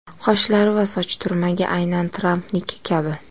Qoshlari va soch turmagi aynan Trampniki kabi.